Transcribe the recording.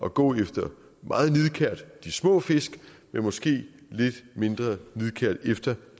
at gå efter de små fisk men måske lidt mindre nidkært efter